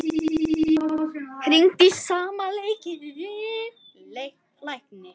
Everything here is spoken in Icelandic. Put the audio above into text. Hringdi í sama lækni